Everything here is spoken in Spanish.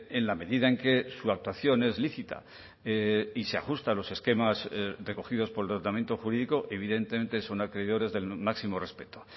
en la medida en que su actuación es lícita y se ajusta a los esquemas recogidos por el tratamiento jurídico evidentemente son acreedores del máximo respeto